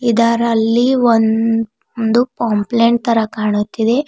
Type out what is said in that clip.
ಇದರಲ್ಲಿ ಒನ್ ಒಂದು ಪೊಂಪ್ಲೇಟ್ ತರ ಕಾಣುತ್ತಿದೆ.